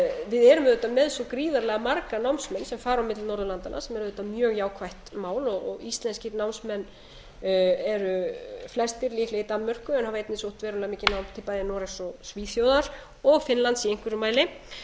við erum auðvitað með svo gríðarlega marga námsmenn sem fara á milli norðurlandanna sem er auðvitað mjög jákvætt mál íslenskir námsmenn eru flestir líklega í danmörku en hafa einnig sótt verulega nám til bæði noregs og svíþjóðar og finnlands í einhverjum mæli